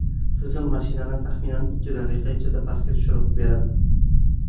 Tizim mashinani taxminan ikki daqiqa ichida pastga tushirib beradi.